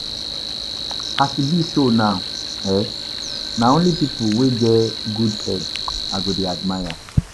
As e be so now um, na only pipu wey get good head I go dey admire.